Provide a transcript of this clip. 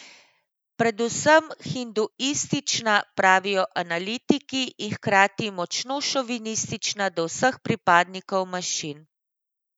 Predvsem hinduistična, pravijo analitiki, in hkrati močno šovinistična do vseh pripadnikov manjšin.